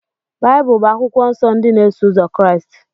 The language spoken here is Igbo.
Baịbụl bụ akwụkwọ nsọ ndị na-eso ụzọ Kraịst.